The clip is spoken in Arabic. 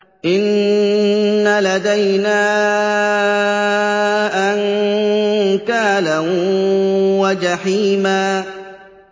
إِنَّ لَدَيْنَا أَنكَالًا وَجَحِيمًا